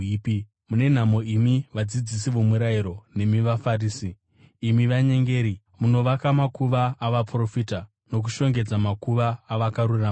“Mune nhamo imi vadzidzisi vomurayiro nemi vaFarisi, imi vanyengeri! Munovaka makuva avaprofita nokushongedza makuva avakarurama.